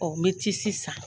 Ɔɔ nɔ be tisi san.